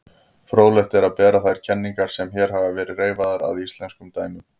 Fróðlegt er að bera þær kenningar sem hér hafa verið reifaðar að íslenskum dæmum.